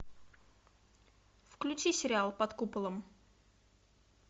включи сериал под куполом